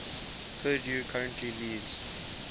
purdue currently leads